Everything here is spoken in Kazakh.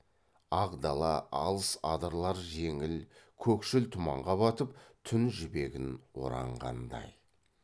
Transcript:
ақ дала алыс адырлар жеңіл көкшіл тұманға батып түн жібегін оранғандай